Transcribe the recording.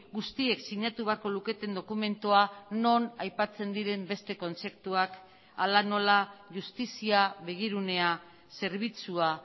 guztiek sinatu beharko luketen dokumentua non aipatzen diren beste kontzeptuak hala nola justizia begirunea zerbitzua